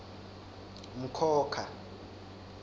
mkhokha